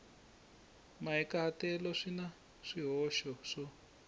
mahikahatelo swi na swihoxo swo